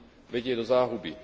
vedie do záhuby.